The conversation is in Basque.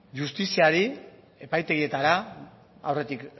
justiziari epaitegietara aurretik